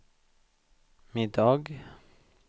middag